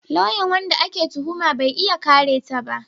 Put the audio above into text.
Lauyan wanda ake tuhuma bai iya kare ta ba